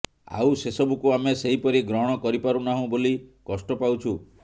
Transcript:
ଆଉ ସେସବୁକୁ ଆମେ ସେହିପରି ଗ୍ରହଣ କରିପାରୁନାହୁଁ ବୋଲି କଷ୍ଟ ପାଉଛୁ